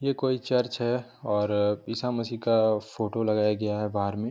ये कोई चर्च है और ईशा मसीह का फ़ोटो लगाया गया है बाहर मे।